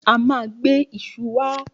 A ma gbe iṣu wá